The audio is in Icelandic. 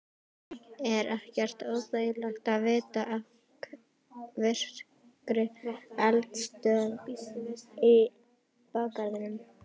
Er ekkert óþægilegt að vita af virkri eldstöð í bakgarðinum?